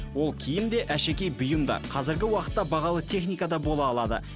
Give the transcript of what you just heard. ол киім де әшекей бұйым да қазіргі уақытта бағалы техника да бола алады